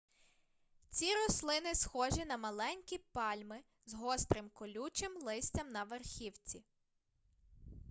ці рослини схожі на маленькі пальми з гострим колючим листям на верхівці